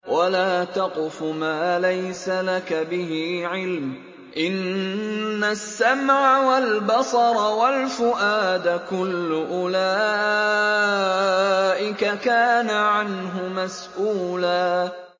وَلَا تَقْفُ مَا لَيْسَ لَكَ بِهِ عِلْمٌ ۚ إِنَّ السَّمْعَ وَالْبَصَرَ وَالْفُؤَادَ كُلُّ أُولَٰئِكَ كَانَ عَنْهُ مَسْئُولًا